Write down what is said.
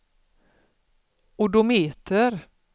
odometer